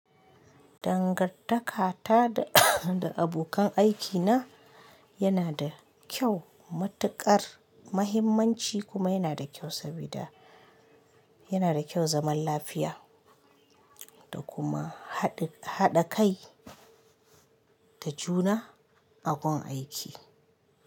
Dangantakata da, da abokan aikina yana da kyau. Matuƙar mahimmanci kuma yana da kyau sabida yana da kyau zaman lafiya da kuma haɗi, haɗa kai da juna a gun aiki.